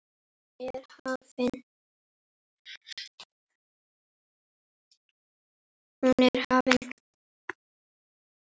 Hún er hafin.